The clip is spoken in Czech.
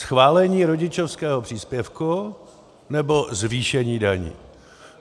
Schválení rodičovského příspěvku, nebo zvýšení daní?